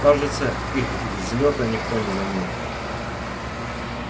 кажется их взлёта никто не заметил